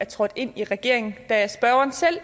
trådt ind i regeringen da spørgeren selv